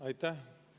Aitäh!